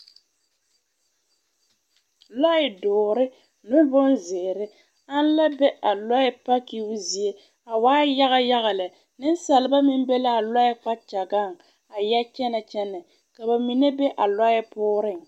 Lɔɛ dɔɔre ne bonzeere an la be a lɔɛ pakiibo zie a waai yaga yaga lɛ neŋsalba meŋ be laa lɔɛ kpakyagaŋ a yɛ kyɛnɛ kyɛnɛ ka ba mine be a lɔɛ pɔɔreŋ.